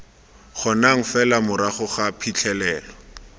kgonang fela morago ga phitlhelelo